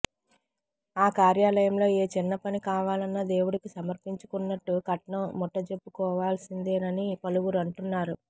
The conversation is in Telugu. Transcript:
ఆ కార్యాలయంలో ఏ చిన్న పని కావాలన్న దేవుడికి సమర్పించుకున్న ట్లు కట్నం ముట్టజెప్పుకోవాల్సిందేనని పలువురు అంటున్నారు